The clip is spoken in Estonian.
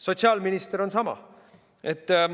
Sotsiaalminister on sama.